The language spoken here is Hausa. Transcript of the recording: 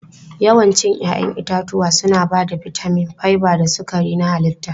Yawancin 'ya'yan itatuwa suna ba da bitamin, fiber da sukari na halitta.